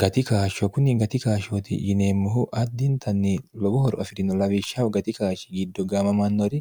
gatikaashsho kunni gatikaashshooti yineemmohu addintanni lowohoro afi'rino lawishshahu gatikaashshi giddo gamamannori